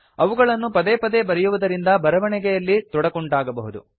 ಅವುಗಳನ್ನು ಪದೆ ಪದೆ ಬರೆಯುವುದರಿಂದ ಬರವಣಿಗೆಯಲ್ಲಿ ತೊಡಕುಂಟಾಗಬಹುದು